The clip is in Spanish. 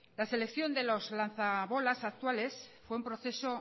la selección de los lanza bolas actuales fue un proceso